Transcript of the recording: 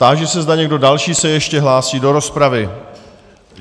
Táži se, zda někdo další se ještě hlásí do rozpravy.